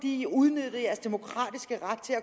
i udnyttede jeres demokratiske ret til at